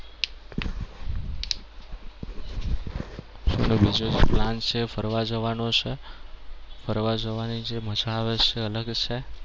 બીજો એક plan છે એ ફરવા જવાનો છે. ફરવા જવાની જે મજા છે એ અલગ છે.